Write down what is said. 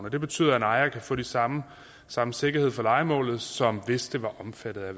og det betyder at en ejer kan få den samme samme sikkerhed for lejemålet som hvis det var omfattet af